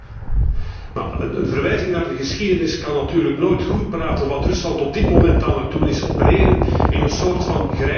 Een verwijzing naar de geschiedenis kan natuurlijk nooit goedpraten wat Rusland op dit moment aan het doen is opereren in een soort grijze zone.